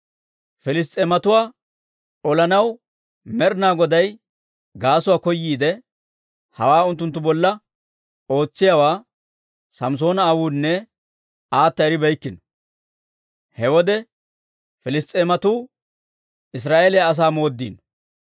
Piliss's'eematuwaa olanaw Med'inaa Goday gaasuwaa koyiide, hawaa unttunttu bolla ootsiyaawaa Samssoona aawunne aata eribeykkino. He wode Piliss's'eematuu Israa'eeliyaa asaa mooddiino.